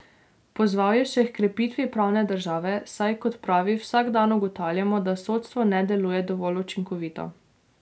Pozval je še h krepitvi pravne države, saj, kot pravi, vsak dan ugotavljamo, da sodstvo ne deluje dovolj učinkovito.